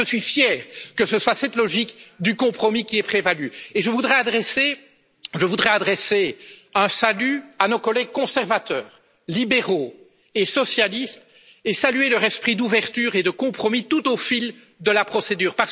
Eh bien je suis fier que ce soit cette logique du compromis qui ait prévalu, et je voudrais adresser un salut à nos collègues conservateurs, libéraux et socialistes et saluer leur esprit d'ouverture et de compromis tout au long de la procédure.